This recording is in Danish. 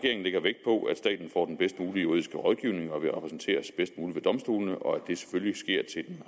og at den bedst mulige juridiske rådgivning og repræsenteres bedst muligt ved domstolene og at det selvfølgelig sker til den